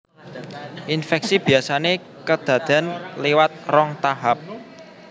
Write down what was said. Infeksi biasané kedaden liwat rong tahap